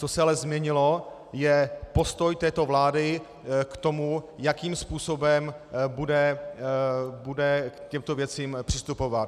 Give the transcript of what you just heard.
Co se ale změnilo, je postoj této vlády k tomu, jakým způsobem bude k těmto věcem přistupovat.